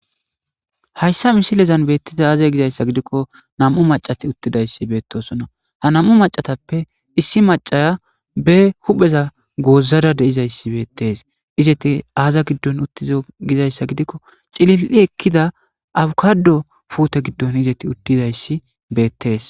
Hayisa misileza betizays azegiko na'mu macati utidayis betosona ha na'mu macatape be hupheza othada de'izayis betes eti azagidon dizayisa gidiko cili'i ekida abikado pute gidon izati utidayis betes